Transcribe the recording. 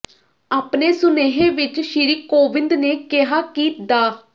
ਆਪਣੇ ਸੁਨੇਹੇ ਵਿੱਚ ਸ਼੍ਰੀ ਕੋਵਿੰਦ ਨੇ ਕਿਹਾ ਕਿ ਡਾ